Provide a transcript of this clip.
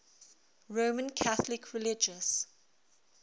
roman catholic religious